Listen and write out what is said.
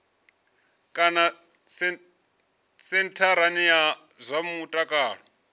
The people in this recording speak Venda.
kana sentharani ya zwa mutakalo